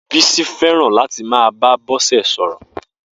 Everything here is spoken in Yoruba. Bisi fẹràn làtí má bá Bose sọrọ